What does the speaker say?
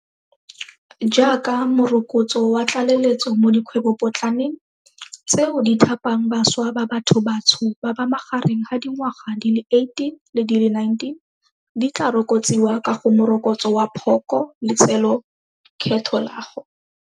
Jaaka morokotso wa tlale letso mo dikgwebopo tlaneng, tseo di thapang bašwa ba bathobatsho ba ba magareng ga dingwaga di le 18 le di le 29, di tla rokotsiwa ka go Morokotso wa Phoko letsolekgetho la go.